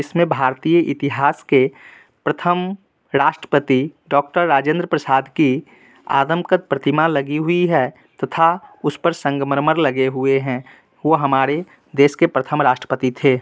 इसमें भारतीय इतिहास के प्रथम राष्ट्रपति डॉ राजेंद्र प्रसाद की आदमकत प्रतिमा लगी हुई है तथा उस पर संगमरमर लगे हुए हैं| वो हमारे देश के प्रथम राष्ट्रपति थे।